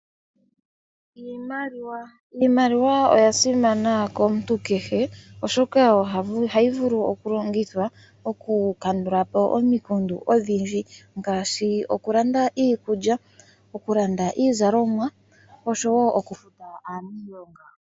Iimaliwa oyasimana komuntu kehe oshoka ohayi vulu okulongithwa okukandula po omikundu odhindji ngaashi okulanda iikulya, okulanda iizalomwa osho wo okufuta aaniilonga.